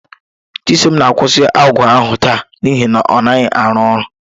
Chisom na-akwụsị ọgwụ ahụ taa n'ihi na ọ naghị arụ ọrụ.